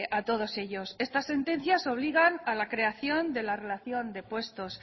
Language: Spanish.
a todos ellos estas sentencias obligan a la creación de la relación de puestos